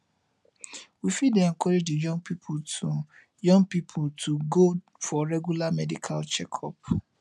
we fit encourage di young pipo to young pipo to go for regular medical checkup